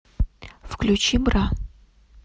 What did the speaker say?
включи бра